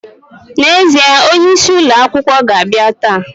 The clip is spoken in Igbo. Na ezie, onye isi ulo akwukwo ga abia taa.